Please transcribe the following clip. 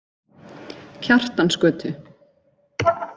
Kjartansgötu